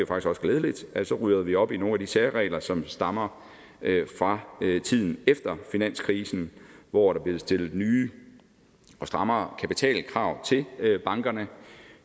også glædeligt rydder vi op i nogle af de særregler som stammer fra tiden efter finanskrisen hvor der blev stillet nye og strammere kapitalkrav til bankerne